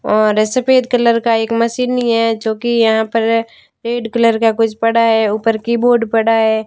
और सफेद कलर का एक मशीन ही है जो कि यहां पर रेड कलर का कुछ पड़ा है ऊपर कीबोर्ड पड़ा है।